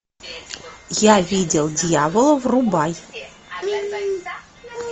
я видел дьявола врубай